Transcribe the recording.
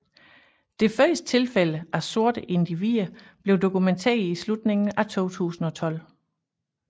Det første tilfælde af sorte individer blev dokumenteret i slutningen af 2012